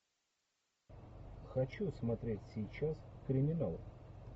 хочу смотреть сейчас криминал